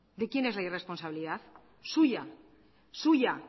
de quién es la irresponsabilidad suya suya